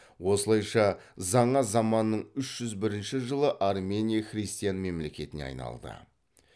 осылайша жаңа заманның үш жүз бірінші жылы армения христиан мемлекетіне айналды